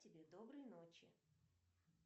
тебе доброй ночи